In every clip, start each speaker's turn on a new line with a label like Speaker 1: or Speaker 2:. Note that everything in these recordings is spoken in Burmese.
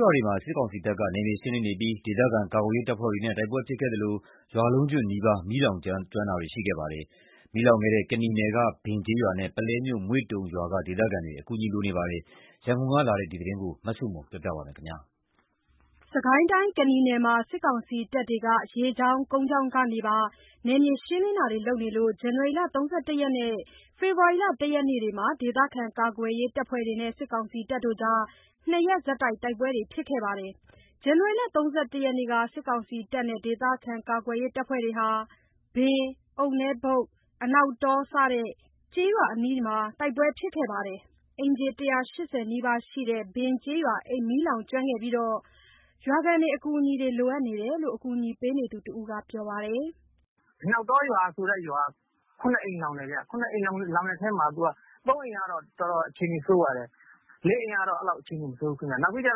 Speaker 1: ွေမှာ စစ်ကောင်စီတပ်က နယ်မြေရှင်းလင်းနေပြီး ဒေသခံကာကွယ်ရေး တပ်ဖွဲ့တွေနဲ့ တိုက်ပွဲဖြစ်ခဲ့သလို ရွာလုံးကျွတ်နီးပါး မီးလောင်ကျွမ်းတာတွေ ရှိခဲ့ပါတယ်။ မီးလောင်ကျွမ်းခဲ့တဲ့ ကနီနယ်က ဘင်ကျေးရွာနဲ့ ပုလဲမြို့၊ မွေ့တုံရွာက ဒေသခံတွေ အကူအညီ လိုအပ်နေပါတယ်။ ရန်ကုန်ကလာတဲ့ ဒီသတင်းကို မဆုမွန်က တင်ပြပေးထားပါတယ်
Speaker 2: ။ စစ်ကိုင်းတိုင်း ကနီနယ်မှာ စစ်ကောင်စီတပ်တွေဟာ ရေကြောင်း၊ ကုန်းကြောင်းကနေပါ နယ်မြေရှင်းလင်းတာတွေလုပ်လို့ ဇန်နဝါရီ ၃၁ ရက်နဲ့ ဖေဖော်ဝါရီ ၁ ရက်တို့မှာ ဒေသခံကာကွယ်ရေး တပ်ဖွဲ့တွေနဲ့ ၂ ရက်ဆက်တိုက် တိုက်ပွဲတွေ ဖြစ်ခဲ့ပါတယ်။ ဇန်နဝါရီ ၃၁ ရက်က စစ်ကောင်စီနဲ့ ဒေသခံကာကွယ်ရေး တပ်ဖွဲ့တို့ဟာ ဘင်၊ အုတ်နဲဘုတ်၊ အနောက်တော စတဲ့ ကျေးရွာအနီးမှာ တိုက် ပွဲဖြစ်ခဲ့ပြီး အိမ်ခြေ ၁၈၀ နီးပါးရှိတဲ့ ဘင်ကျေးရွာ မီးလောင်ကျွမ်းခဲ့ပြီးတော့ ရွာခံတွေ အကူအညီလိုအပ်နေတယ်လို့ အကူအညီပေးနေသူတဦးက ပြောပါတယ်။
Speaker 3: “အနောက်တောဆိုတဲ့ရွာက ၇ အိမ်လောင်တယ်။ ၇ အိမ်လောင်တဲ့ထဲမှာ ၃ အိမ်ကတော့ အခြေအနေ တော်တော်ဆိုးပါတယ်။ ၄ အိမ် ကတော့ အဲ့လောက် အခြေအနေ မဆိုးဘူးခင်ဗျ။ ဘင်ကျ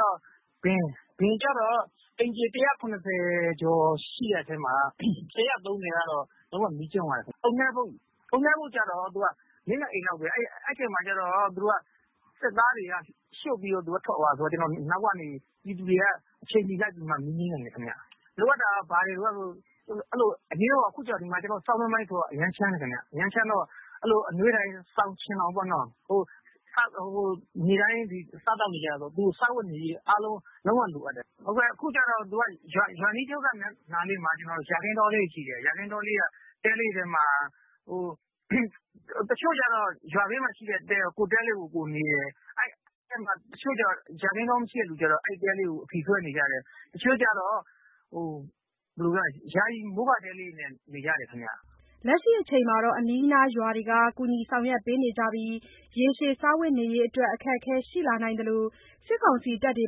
Speaker 3: တော့ အိမ်ခြေ ၁၇၀ ကျော်ရှိတဲ့ထဲမှာ ၁၃၀ ကတော့ လုံးဝ မီးကျွမ်းသွားတယ်။ အုတ်နဲဘုတ်ကျတော့ ၄/၅ အိမ်လောက်ပဲ။ အဲ့ဒီအချိန်မှာ စစ်သားတွေက ရှို့ပြီးထွက်သွားတာဆိုတော့ အနောက်ကနေ ပြည်သူတွေက အချိန်မီလိုက်ပြီး မီးငြိမ်းလိုက်နိုင်တယ်။ လိုအပ်တာက ဘာတွေလိုအပ်လဲဆိုရင် အရေးပေါ် အခု ဆောင်းတွင်းပိုင်းဆိုတော့ အရမ်းချမ်းတယ်ခင်ဗျ။ အရမ်းချမ်းတော့ အနွေးထည် စောင်၊ ခြင်ထောင်ပေါ့နော်။ နေ့တိုင်းစားသောက်နေကျတာဆိုတော့ စားဝတ်နေရေး လုံးဝလိုအပ်တယ်။ အခုကျတော့ ရွာအနီးမှာ ယာခင်းတောလေးတွေ ရှိတယ်။ ယာခင်းတဲလေးတွေပေါ့။ တချို့ကျတော့ ယာခင်းတဲလေးတွေက ကိုယ့်တဲမှာ ကိုယ်နေတယ်။ တချို့ ယာခင်းတောမရှိတဲ့သူတွေကျတော့ အဲဒီတဲလေးတွေကို အဖီဆွဲနေကြတယ်။ တချို့က ယာယီ မိုးကာတဲလေးတွေနဲ့နေကြတယ်။
Speaker 2: ” လက်ရှိအချိန်မှာတော့ အနီးအနားရွာတွေက ကူညီဆောင်ရွက်ပေးနေပြီး ရေရှည် စားဝတ်နေရေးအတွက် အခက်အခဲ ရှိလာနိုင်သလို စစ်ကောင်စီတပ်တွေ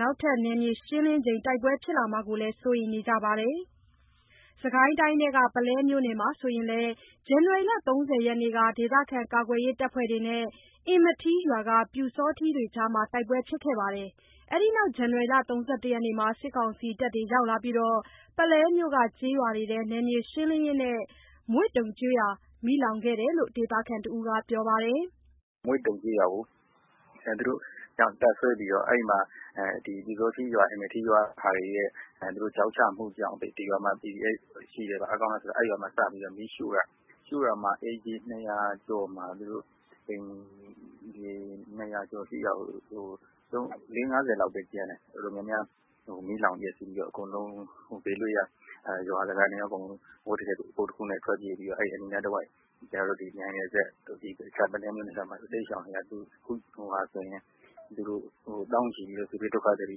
Speaker 2: နောက်ထပ်နယ်မြေရှင်းလင်းချိန် တိုက်ပွဲဖြစ်လာမှာကိုလည်း စိုးရိမ်နေကြပါတယ်။ စစ်ကိုင်းတိုင်းထဲက ပုလဲမြို့နယ်မှာဆိုရင်လည်း ဇန်နဝါရီ ၃၀ ရက်က ဒေသခံကာကွယ်ရေးတပ်ဖွဲ့တွေနဲ့ အင်မထီးရွာက ပျူစောထီးတွေကြား တိုက်ပွဲဖြစ်ခဲ့ပါတယ်။ အဲ့ဒီနောက် ဇန်နဝါရီ ၃၁ ရက်မှာ စစ်ကောင်စီတပ်တွေရောက်လာပြီး ပုလဲမြို့က ကျေးရွာတွေထဲ နယ်မြေရှင်းလင်းရင်း မွေ့တုံကျေးရွာ မီးလောင်ခဲ့တယ်လို့ ဒေသခံတဦးက ပြောပါတယ်။
Speaker 1: “မွေ့တုံကျေးရွာမှာ တပ်စွဲပြီးတော့ အင်မထီးရွာက ပျူစောထီးတွေရဲ့ ချောက်ချမှုကြောင့် ဒီရွာမှာ PDF တွေ ရှိတယ်၊ အားကောင်းတယ် ဆိုပြီး မီးရှို့တာ။ အိမ်ခြေ ၂၀၀ ကျော်မှာ ၄၀/၅၀ လောက်ပဲကျန်တယ်။ မီးလောင်ပျက်စီးပြီးတော့ အကုန်လုံး ဘေးလွတ်ရာ အဝတ်တထည် ကိုယ်တခုနဲ့ ထွက်ပြေးပြီးတော့ အဲ့အနီး နားတဝိုက် မြိုင်နယ်စပ်ကို တိမ်းရှောင်နေရတယ်။ အခုဆိုရင် သောင်းချီပြီး စစ်ဘေးဒုက္ခသည်တွေ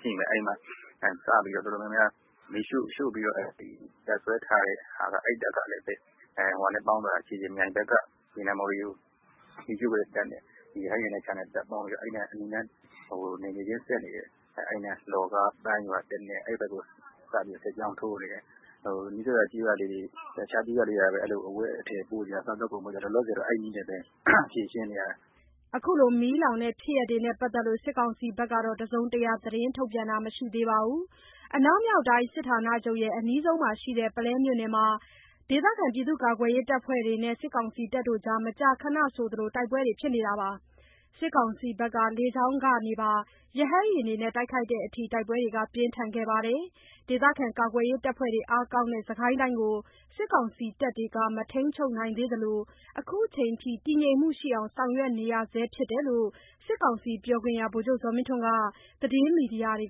Speaker 1: ရှိမယ်။ အခုဆို တပ်စွဲပြီး မီးရှို့တဲ့ အဲ့တပ်ကလည်း မြိုင်ဘက်က ရေနံမှော်တွေကို မီးရှို့တဲ့တပ်နဲ့ပေါင်းပြီး အဲ့အနီးနား လှော်ကား ပန်းရွာ အဲ့နယ်မြေချင်းစပ်နေတဲ့ ရွာတွေကို စစ်ကြောင်းထိုးနေတယ်။ အဲ့အနီးနားက အဝတ်အထည် စားသောက်ကုန်တွေ ကူညီရင်း အဲ့နည်းနဲ့ဖြေရှင်းနေရတယ်။
Speaker 2: ” အခု မီးလောင်တဲ့ဖြစ်ရပ်တွေနဲ့ ပတ်သက်လို့ စစ်ကောင်စီက တစုံတရာ သတင်းထုတ်ပြန်တာ မရှိသေးပါဘူး။ အနောက်မြောက်တိုင်း စစ်ဌာနချုပ်နဲ့ အနီးဆုံးမှာရှိတဲ့ ပုလဲမြို့နယ်မှာ ဒေသခံကာကွယ်ရေးတပ်ဖွဲ့တွေနဲ့ စစ်ကောင်စီတပ်တွေ မကြာခဏဆိုသလို တိုက်ပွဲတွေ ဖြစ်နေပြီး စစ်ကောင်စီက လေကြောင်းကနေပါ ရဟတ်ယာဉ်တွေနဲ့ တိုက်ခိုက်တဲ့အထိ တိုက်ပွဲတွေ ပြင်းထန်ခဲ့ပါတယ်။ ဒေသခံကာကွယ်ရေးတပ်ဖွဲ့တွေ အားကောင်းတဲ့ စစ်ကိုင်းတိုင်းကို စစ်ကောင်စီတပ်တွေ မထိန်းချုပ်နိုင်သေးသလို အခုချိန်ထိ တည်ငြိမ်မှုရှိအောင် ဆောင်ရွက်နေရဆဲဖြစ်တယ်လို့ စစ်ကောင်စီပြောခွင့်ရ ဗိုလ်ချုပ်ဇော်မင်းထွန်းက သတင်းမီဒီယာတွေ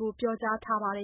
Speaker 2: ကို ပြောကြားထားပါတယ်